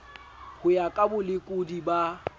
ho ya ka bolekodi ba